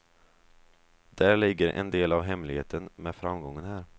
Där ligger en del av hemligheten med framgången här.